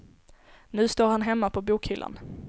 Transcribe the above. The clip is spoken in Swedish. Nu står han hemma på bokhyllan.